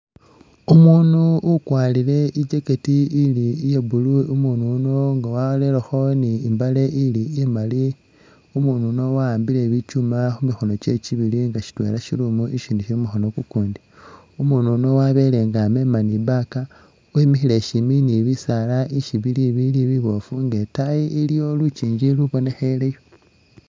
Umundu ukwarire i'jacket ili iye blue, umundu uyuno nga warerekho ne imbaale ili, umundu uyuno waambile bichuuma khumikhono chewe chibiibili shitwela shili umu ishindi shili mumukhono mumundi umundu umo wabeela nga amema ne i'bag emikhile shimbi ne bisaala ishibili biboofu nenga itaayi iliyo lukingi ulu bonekheleyo